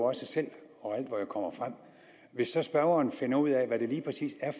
også selv og hvor jeg kommer frem hvis så spørgeren finder ud af hvad det lige præcis er